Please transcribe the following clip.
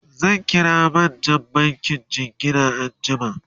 zan kira manjan bankin jingina anjiama